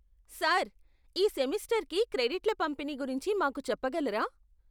Sir, ఈ సెమిస్టర్కి క్రెడిట్ల పంపిణీ గురించి మాకు చెప్పగలరా?